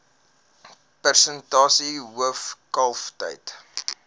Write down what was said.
persentasie hoof kalftyd